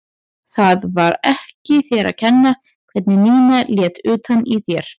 Það var ekki þér að kenna hvernig Nína lét utan í þér.